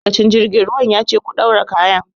Ma'aikacin jirgin ruwan ya ce 'Ku ɗaura kayan'!